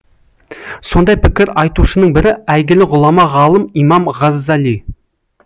сондай пікір айтушының бірі әйгілі ғұлама ғалым имам ғаззали